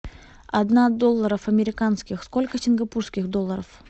одна долларов американских сколько сингапурских долларов